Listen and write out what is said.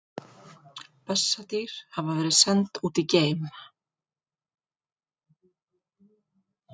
Bessadýr hafa verið send út í geim!